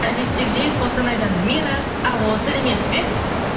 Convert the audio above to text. әдеттегідей қостанайдан мирас алло сәлеметсіз бе